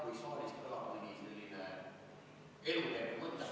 Jah, kui saalist kõlab mõni selline eluterve mõte.